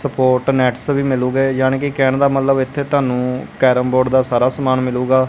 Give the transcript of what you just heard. Support nets ਵੀ ਮਿਲੁਗੇ ਯਾਨੀ ਕਿ ਕਹਿਣ ਦਾ ਮਤਲਬ ਇੱਥੇ ਤੁਹਾਨੂੰ ਕੈਰਮ ਬੋਰਡ ਦਾ ਸਾਰਾ ਸਮਾਨ ਮਿਲੂਗਾ।